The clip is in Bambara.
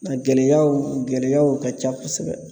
A gɛlɛyaw gɛlɛyaw ka ca kosɛbɛ